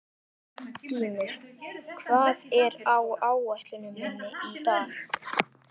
Gýmir, hvað er á áætluninni minni í dag?